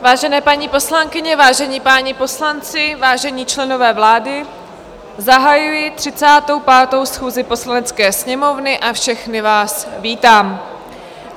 Vážené paní poslankyně, vážení páni poslanci, vážení členové vlády, zahajuji 35. schůzi Poslanecké sněmovny a všechny vás vítám.